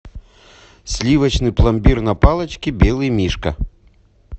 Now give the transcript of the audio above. сливочный пломбир на палочке белый мишка